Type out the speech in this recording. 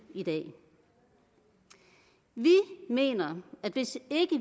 i dag vi mener at hvis